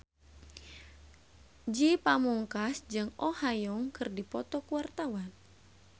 Ge Pamungkas jeung Oh Ha Young keur dipoto ku wartawan